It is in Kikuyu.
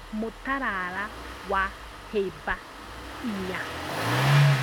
Mutarara wa hĩba inya